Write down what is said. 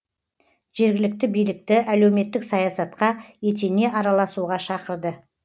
жергілікті билікті әлеуметтік саясатқа етене араласуға шақырды